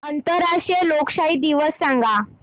आंतरराष्ट्रीय लोकशाही दिवस सांगा